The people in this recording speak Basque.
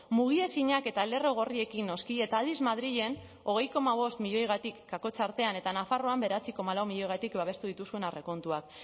mugiezinak eta lerro gorriekin noski eta aldiz madrilen hogei koma bost milioigatik kakotx artean eta nafarroan bederatzi koma lau milioigatik babestu dituzuen aurrekontuak